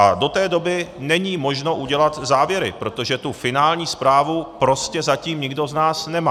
A do té doby není možno udělat závěry, protože tu finální zprávu prostě zatím nikdo z nás nemá.